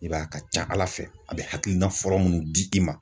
I b'a ye a ka ca ala fɛ, a be hakilina fɔlɔ munnu di i ma.